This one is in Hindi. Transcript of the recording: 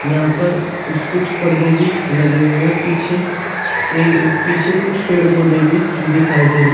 यहां पर इ कुछ पर्दे भी लगे हुए हैं। पीछे ए पीछे कुछ पेड़ पौधे भी दिखाई दे रे --